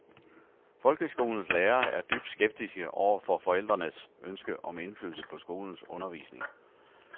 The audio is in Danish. Folkeskolens lærere er dybt skeptiske over for forældrenes ønske om indflydelse på skolens undervisning.